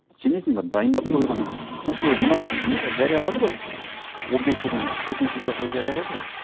сенесің бе дайындап қойған осы мынау нені жариялады ғой он бесі күні төтенше жағдай жариялады ғой